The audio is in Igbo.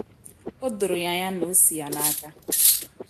O doro ya anya na o si ya n’aka.